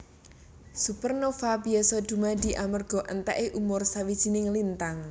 Supernova biasa dumadi amarga entèké umur sawijining lintang